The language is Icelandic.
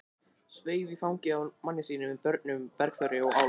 Sveif í fangið á manni sínum með börnin, Bergþóru og Álf.